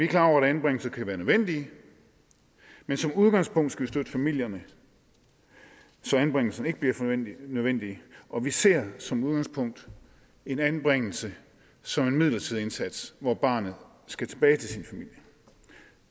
klar over at anbringelse kan være nødvendig men som udgangspunkt skal vi støtte familierne så anbringelsen ikke bliver nødvendig og vi ser som udgangspunkt en anbringelse som en midlertidig indsats hvor barnet skal tilbage til sin familie